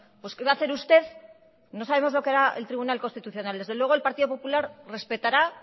pues qué va a hacer usted no sabemos lo que hará el tribunal constitucional desde luego el partido popular respetará